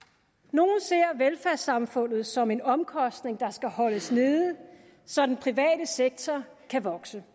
nogle ser velfærdssamfundet som en omkostning der skal holdes nede så den private sektor kan vokse